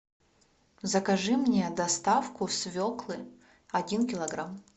закажи мне доставку свеклы один килограмм